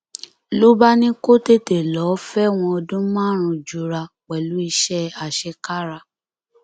ló bá ní kó tètè lọọ fẹwọn ọdún márùnún jura pẹlú iṣẹ àṣekára